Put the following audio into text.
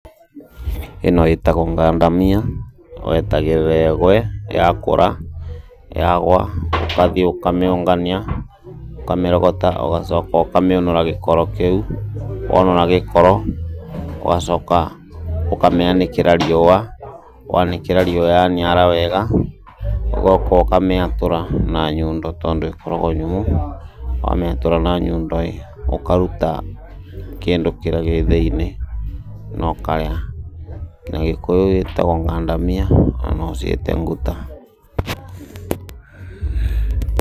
Ĩno ĩtagwo ngandamia, wetagĩrĩra ĩgwe, yakũra, yagwa, ũgathiĩ ũkamĩũngania, ũkamĩrogota, ũgacoka ũkamĩũnũra gĩkoro kĩu, wonũra gĩkoro, ũgacoka ũkamĩanĩkĩra riũa, wanĩkĩra riũa ya niara wega, ũgoka ũkamĩatũra na nyundo tondũ ĩkoragwo nyũmũ, wamĩatũra na nyundo ĩ, ũkaruta kĩndũ kĩrĩa gĩ thĩiniĩ, na ũkarĩa. Na gĩkũyũ ĩtagwo ngandamia, na no ũciĩte nguta.